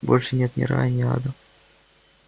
больше нет ни рая ни ада